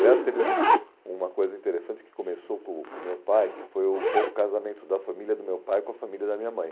Aliás, teve um uma coisa interessante que começou com o com o meu pai, que foi um pouco o casamento da família do meu pai com a família da minha mãe.